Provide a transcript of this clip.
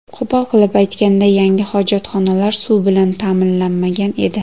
Qo‘pol qilib aytganda, yangi hojatxonalar suv bilan ta’minlanmagan edi.